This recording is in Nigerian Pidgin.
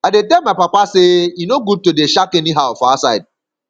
i dey tell my papa sey e no good to dey shak anyhow for outside